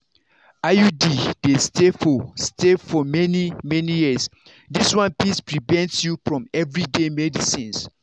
iud dey stay for stay for many-many years this one fit prevent you from everyday medicines.